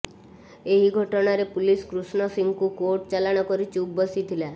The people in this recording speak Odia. ଏହି ଘଟଣାରେ ପୁଲିସ କୃଷ୍ଣ ସିଂଙ୍କୁ କୋର୍ଟ ଚାଲାଣ କରି ଚୁପ୍ ବସିଥିଲା